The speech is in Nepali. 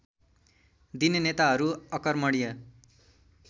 दिने नेताहरू अकर्मण्य